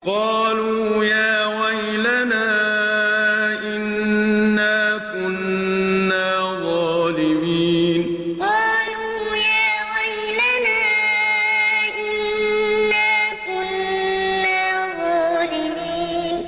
قَالُوا يَا وَيْلَنَا إِنَّا كُنَّا ظَالِمِينَ قَالُوا يَا وَيْلَنَا إِنَّا كُنَّا ظَالِمِينَ